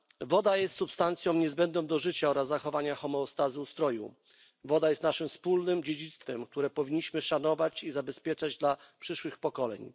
Woda jest substancją niezbędną do życia oraz zachowania homeostazy ustroju. Woda jest naszym wspólnym dziedzictwem, które powinniśmy szanować i zabezpieczać dla przyszłych pokoleń.